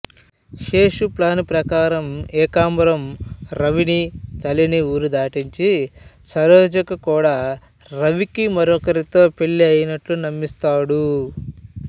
Seshu plan ప్రకారం ఏకాంబరం రవిని తల్లిని ఊరు దాటించి సరోజకు కూడా రవికి మరొకరితో పెళ్ళి అయినట్లు నమ్మిస్తాడు